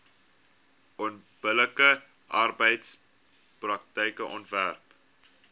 onbillike arbeidspraktyke onderwerp